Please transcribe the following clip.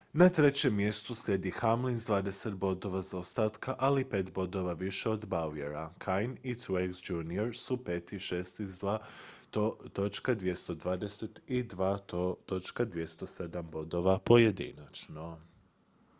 na trećem mjestu slijedi hamlin s dvadeset bodova zaostataka ali pet bodova više od bowyera kahne i truex jr su pet i šesti s 2.220 i 2.207 bodova pojedinačno